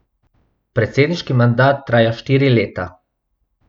Predsedniški mandat traja štiri leta.